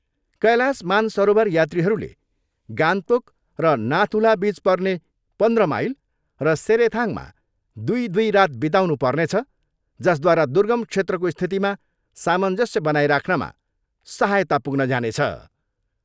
कैलाश मानसरोवर यात्रीहरूले गान्तोक र नाथुल बिच पर्ने पन्ध्र माइल र सेरेथाङमा दुई दुई रात बिताउनु पर्नेछ जसद्वारा दुर्गम क्षेत्रको स्थितिमा सामञ्जस्य बनाई राख्नमा सहायता पुग्न जानेछ।